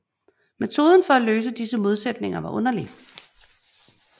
Metoden for at løse disse modsætninger var underlig